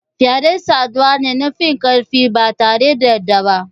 Fyade saduwa ne na finkarfi batare da yarda ba.